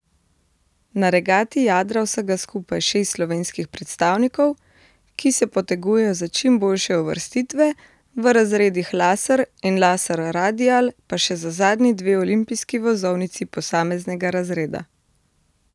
Na regati jadra vsega skupaj šest slovenskih predstavnikov, ki se potegujejo za čim boljše uvrstitve, v razredih laser in laser radial pa še za zadnji dve olimpijski vozovnici posameznega razreda.